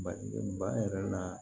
Bali ba yɛrɛ la